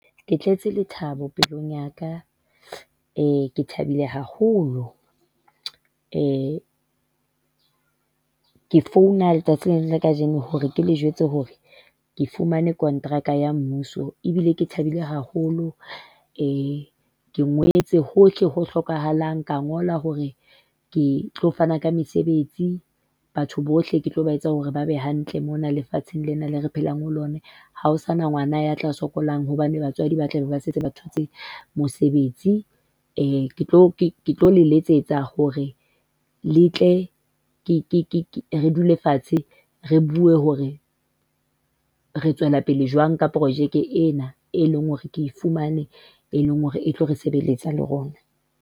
Ke tletse lethabo pelong ya ka, eee! ke thabile haholo, eee! ke founa letsatsing lena la kajeno, hore ke le jwetse hore ke fumane kontraka ya mmuso ebile ke thabile haholo. Eeee! ke ngotse hohle ho hlokahalang, ka ngola hore ke tlo fana ka mesebetsi. Batho bohle ke tlo ba etsa hore ba be hantle mona lefatsheng lena leo re phelang ho lona, ha ho sana ngwana ya tla sokolang hobane batswadi ba tlabe ba setse ba thotse mosebetsi. Eeee! ketlo le letsetsa hore le tle re dule fatshe re bue hore re tswela pele jwang ka projeke ena eo e leng hore ke e fumane, eo e leng hore e tlo re sebelletsa le rona.